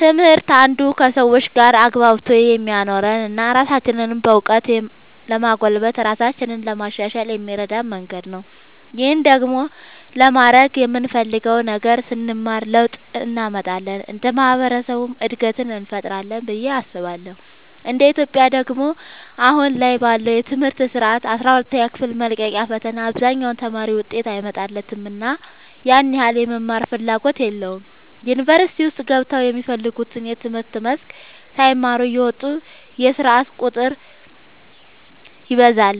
ትምህርት አንዱ ከሰዎች ጋር አግባብቶ የሚያኖረን እና ራሳችንንም በእውቀት ለማጎልበት ራሳችንን ለማሻሻል የሚረዳን መንገድ ነው። ይህን ደግሞ ለማድረግ የምንፈልገውን ነገር ስንማር ለውጥ እንመጣለን እንደ ማህበረሰብም እድገትን እንፈጥራለን ብዬ አስባለሁ እንደ ኢትዮጵያ ደግሞ አሁን ላይ ባለው የትምህርት ስርዓት አስራ ሁለተኛ ክፍል መልቀቂያ ፈተና አብዛኛው ተማሪ ውጤት አይመጣለትምና ያን ያህል የመማርም ፍላጎት የለውም ዩኒቨርሲቲ ውስጥ ገብተውም የሚፈልጉትን የትምህርት መስክ ሳይማሩ እየወጡ የስርዓት ቁጥር ይበዛል